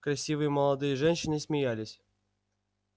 красивые молодые женщины смеялись